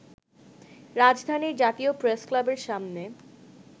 রাজধানীর জাতীয় প্রেসক্লাবের সামনে